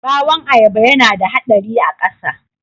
Ɓawon ayaba yana da haɗari a ƙasa